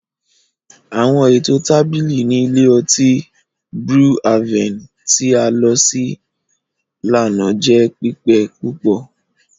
Àwọn eto tábìlì ni ilé ọti Brew Haven ti a lọ si lana jẹ pipe púpọ.